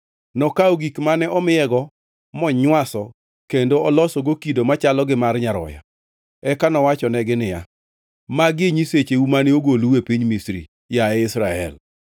Nokawo gik mane omiyego monywaso kendo olosogo kido machalo gi mar nyaroya. Eka nowachonegi niya, “Magi e nyisecheu mane ogolou e piny Misri, yaye Israel.”